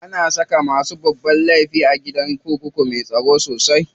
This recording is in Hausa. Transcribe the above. Ana saka masu babban laifi a gidan kurkuku me tsaro sosai.